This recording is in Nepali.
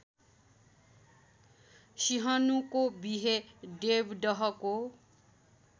सिंहनुको विहे देवदहको